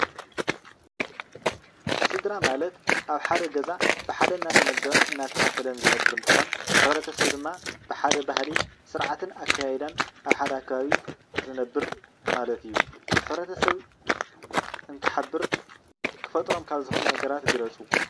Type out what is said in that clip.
ስድራ ማለት ኣብ ሓደ ገዛ ብሓደ እናተመገበን እናተኻፈለን ዝነበር እንትኾን፣ ሕብረተሰብ ድማ ብሓደ ባህሊ ስርዓትን ኣከያይዳን ኣብ ሓደ ከባቢ ዝነበር ማለት እዩ። ሕብረተሰብ እንትሓበር ክፈጥሮም ካብ ዝኽእሉ ነገራት ግለፁ?